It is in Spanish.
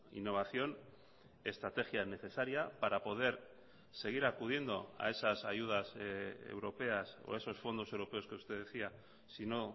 innovación estrategia necesaria para poder seguir acudiendo a esas ayudas europeas o esos fondos europeos que usted decía si no